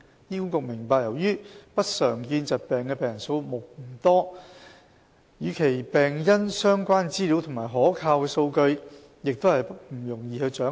醫管局明白由於不常見疾病的病人數目不多，與其病因相關的資料及可靠數據亦不容易掌握。